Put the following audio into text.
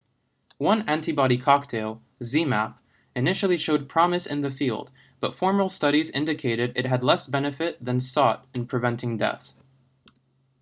one antibody cocktail zmapp initially showed promise in the field but formal studies indicated it had less benefit than sought in preventing death